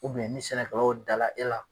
ni sɛnɛkɛlaw dala e la.